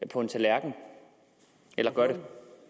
på en tallerken eller gør det